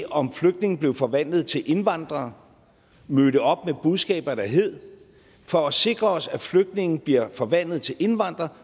om flygtninge blev forvandlet til indvandrere mødte op med budskaber der hed for at sikre os at flygtninge bliver forvandlet til indvandrere